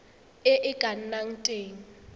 e e ka nnang teng